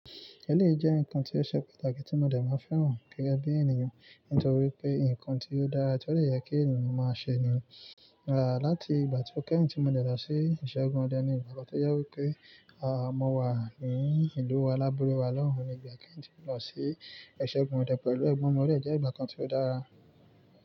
Èlé jẹ́ ǹkan tí ó ṣe pàtàkì tí mọ̀dẹ̀ máa fẹ́ràn gẹ́gẹ́ bí ènìyàn. Nítorí pé ǹkan tí ó dára tí ó le yẹ kí ènìyàn máa ṣe ni. À láti ìgbà tí ó kẹ́hìn tí mọ̀dẹ̀ lọ sí ìṣẹ́gun ọdẹ ni ìgbàgbọ́ tó jẹ wí pé àmo wa ni ìlú wa, alábule wa lọ́hùn ní ìgbà kẹ́hìn ti lọ sí ìṣẹ́gun ọdẹ pẹ̀lú ẹgbọn odẹ jẹ́ ìgbà kan tí ó dára.